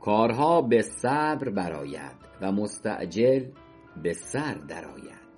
کارها به صبر بر آید و مستعجل به سر در آید